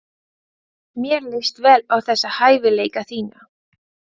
Mér líst vel á þessa hæfileika þína.